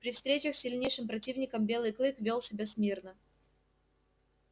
при встречах с сильнейшим противником белый клык вёл себя смирно